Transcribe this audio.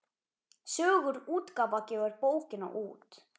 Sögur útgáfa gefur bókina út.